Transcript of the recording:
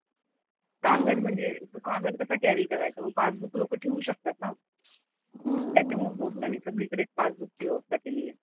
कागद म्हणजे कागद कसा कॅरी करायचा. मग पासबुक लोकं ठेवू शकतात ना. त्याच्यामुळे पोस्टाने सगळीकडेच पासबुकची व्यवस्था केली आहे.